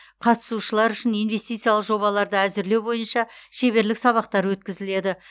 қатысушылар үшін инвестициялық жобаларды әзірлеу бойынша шеберлік сабақтар өткізіледі